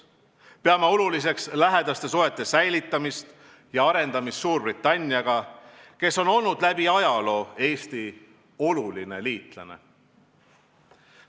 Peame oluliseks hoida ja arendada lähedasi suhteid Suurbritanniaga, kes on olnud läbi ajaloo Eesti oluline liitlane.